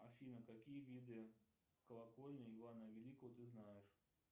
афина какие виды колокольни ивана великого ты знаешь